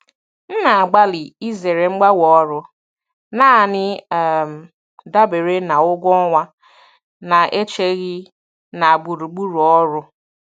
M na-agbalị izere mgbanwe ọrụ naanị um dabere na ụgwọ ọnwa na-echeghị na gburugburu ọrụ.